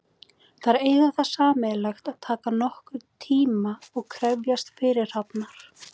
Þær eiga það sameiginlegt að taka nokkurn tíma og krefjast fyrirhafnar.